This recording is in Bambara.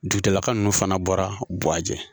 Dugutigilaka nunnu fana bɔra buwajɛ.